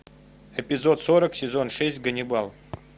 эпизод сорок сезон шесть ганнибал